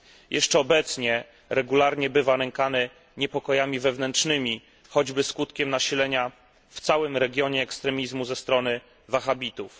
Jeszcze obecnie regularnie bywa nękany niepokojami wewnętrznymi, choćby skutkiem nasilenia w całym regionie ekstremizmu ze strony Wahhabitów.